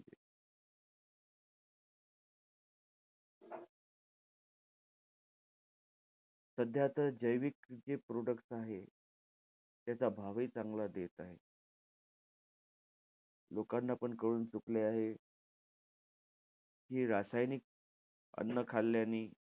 सध्या तर जैविक जे products आहेत, त्याचा भावही चांगला येत आहे. लोकांना पण कळून चुकले आहे, कि हे रासायनिक अन्न खाल्यानी,